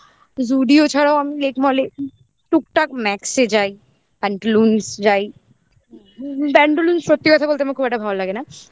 Zudio ছাড়াও আমি Lake mall এ টুকটাক Max এ যাই Pantaloons এ যাই Pantaloons সত্যি কথা বলতে আমার খুব একটা ভালো লাগে না